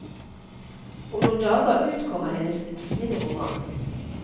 Om noen dager utkommer hennes tiende roman.